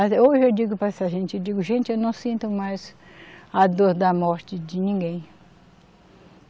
Hoje eu digo para essa gente, eu digo, gente, eu não sinto mais a dor da morte de ninguém.